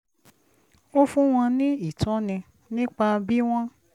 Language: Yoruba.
ó fún wọn ní ìtọ́ni nípa bí wọ́n